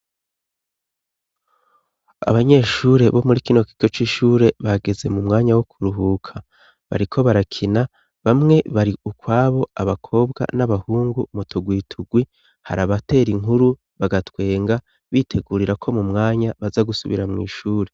Abanyeshure bo muri kino kigo c'ishure bageze mu mwanya wo kuruhuka, bariko barakina, bamwe bari ukwabo abakobwa n'abahungu mu tugwi tugwi, hari abatera inkuru bagatwenga; bitegurira ko mu mwanya baza gusubira mw'ishure.